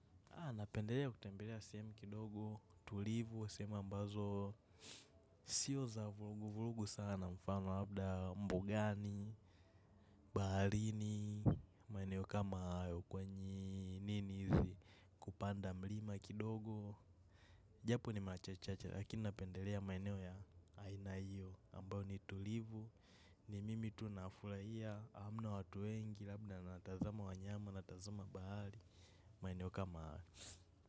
Napendelea kutembelea sehemu kidogo, tulivu, sehemu ambazo sio za vulugu, vulugu sana mfano labda mbugani, baharini, maeneo kama yukwenye nini hizi kupanda mlima kidogo. Japo ni machachacha lakini napendelea maeneo ya ainayo ambayo ni tulivu, ni mimi tu nafulahia, hamna watu wengi labda natazama wanyama natazama bahari, maeneo kama haya.